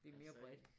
Altså